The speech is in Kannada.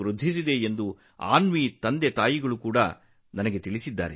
ಈಗ ಅವರ ಆತ್ಮವಿಶ್ವಾಸವು ಹೆಚ್ಚಾಗಿದೆ